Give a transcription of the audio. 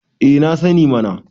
eh na sani mana